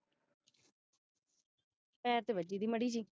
ਪੈਰ ਤੇ ਵਜੀ ਸੀ ਮਾੜੀ ਜਹੀ